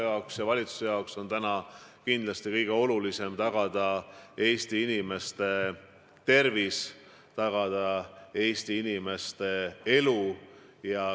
Minu jaoks ja valitsuse jaoks on kindlasti kõige olulisem tagada Eesti inimeste elu.